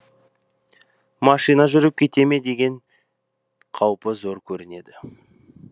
машина жүріп кете ме деген қаупі зор көрінеді